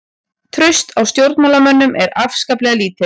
Traust á stjórnmálamönnum er ákaflega lítið